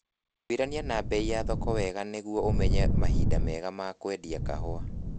Twĩrania na bei cia thoko wega nĩguo ũmenye mahinda mega ma kwendia kahũa